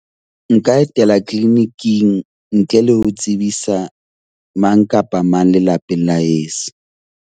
Nka etela clinic-ing ntle le ho tsebisa mang kapa mang lelapeng la heso.